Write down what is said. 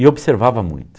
E observava muito.